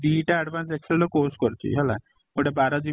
ଦି ଟା advance excel ର course କରିଛି ହେଲା ଗୋଟେ ବାର GB ର